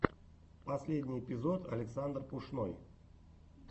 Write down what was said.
последний эпизод александр пушной